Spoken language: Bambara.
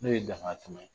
N'o ye dankari